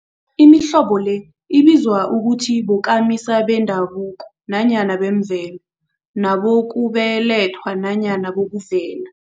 Imihlobo le ibizwa ukuthi bokamisa bendabuko nanyana bemvelo, nabokubelethwa nanyana bokuvela.